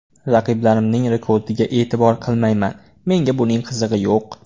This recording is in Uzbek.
Raqiblarimning rekordiga e’tibor qilmayman, menga buning qizig‘i yo‘q.